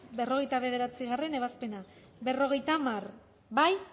berrogeita bederatzigarrena ebazpena berrogeita hamar bozkatu